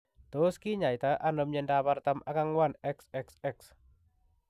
Tos kinyaitaa anoo miondoop artam ak angwan XXX?